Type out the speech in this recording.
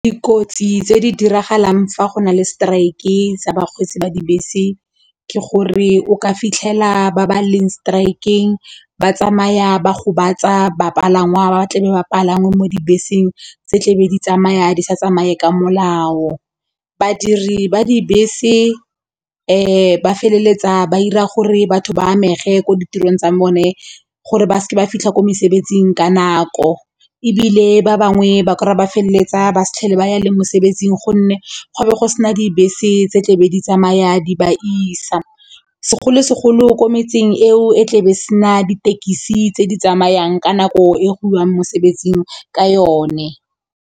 Dikotsi tse di diragalang fa go na le strike sa bakgweetsi ba dibese ke gore o ka fitlhela ba ba leng strike-ng ba tsamaya ba gobatsa bapalangwa ba tlabe ba palame mo dibeseng tse tlebe di tsamaya di sa tsamaye ka molao. Badiri ba dibese ba feleletsa ba ira gore batho ba amege mo ditirong tsa bone gore ba seke ba fitlha ko mesebetsing ka nako ebile ba bangwe ba kry-a ba feleletsa ba sa tlhole ba ya le mosebetsing gonne go a be go sena dibese tse tlebe di tsamaya di ba isa segolo segolo ko metseng eo e tlebe sena ditekisi tse di tsamayang ka nako e go iwang mosebetsing ka yone.